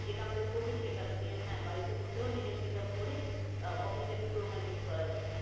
যেটা আমাদের কভিড শেখা। যে হ্যাঁ বাড়িতে বসেও নিজের setup করে আহ অফিস টাকে পুরো continue করা যায়।